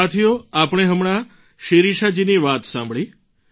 સાથીઓ આપણે હમણાં શિરિષાજીની વાત સાંભળી